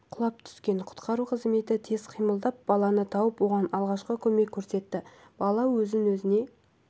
құлап түскен құтқару қызметі тез қимылдап баланы тауып оған алғашқы көмек көрсетті бала өз өзіне